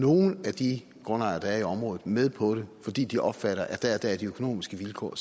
nogle af de grundejere der er i området med på det fordi de opfatter at de økonomiske vilkår